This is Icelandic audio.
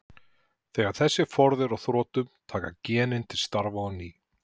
Þegar þessi forði er á þrotum taka genin til starfa á ný.